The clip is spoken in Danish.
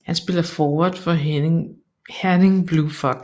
Han spiller forward for Herning Blue Fox